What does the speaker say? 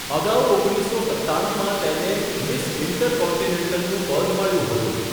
અગાઉ ઓગણીસસો સત્તાણુંમાં તેને મિસ ઈન્ટરકોન્ટિનેન્ટલનું પદ મળ્યું હતું.